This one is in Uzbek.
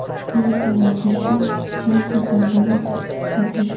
Ayni kunlarda esa chang to‘zondan aziyat chekyapmiz”.